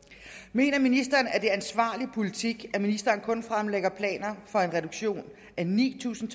mener ministeren at det er ansvarlig politik at ministeren kun fremlægger planer for en reduktion af ni tusind